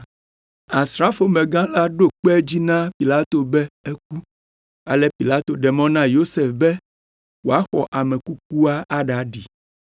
Asrafomegã la ɖo kpe edzi na Pilato be eku. Ale Pilato ɖe mɔ na Yosef be wòaxɔ ame kukua aɖaɖi.